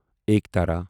ایکٹرا